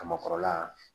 Kaba kɔrɔla